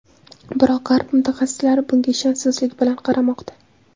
Biroq g‘arb mutaxassislari bunga ishonchsizlik bilan qaramoqda.